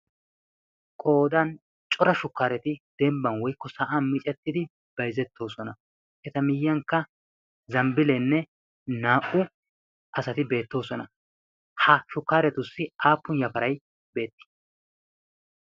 Qoodan cora shukkareti dembban woykko sa'an miccetidi bayzzetoosona. eta miyiyyankka zambbilenne naa''u asati beettoosona. ha shukkariyassi aappun yafaray de'i?